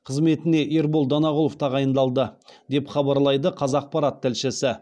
қызметіне ербол данағұлов тағайындалды деп хабарлайды қазақпарат тілшісі